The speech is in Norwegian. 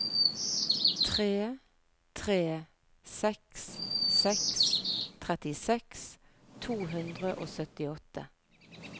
tre tre seks seks trettiseks to hundre og syttiåtte